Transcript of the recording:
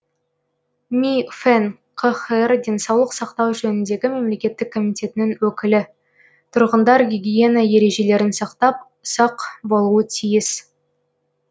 ми фэн қхр денсаулық сақтау жөніндегі мемлекеттік комитетінің өкілі тұрғындар гигиена ережелерін сақтап сақ болуы тиіс